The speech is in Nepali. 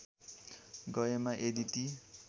गएमा यदि ती